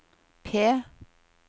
P